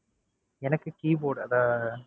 எனக்கு keyboard அதை,